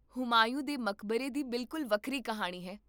ਹੁਮਾਯੂੰ ਦੇ ਮਕਬਰੇ ਦੀ ਬਿਲਕੁਲ ਵੱਖਰੀ ਕਹਾਣੀ ਹੈ